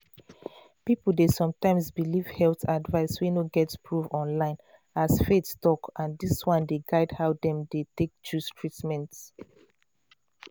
people dey sometimes believe health advice wey no get proof online as faith talk and dis one dey guide how dem dey take choose treatment.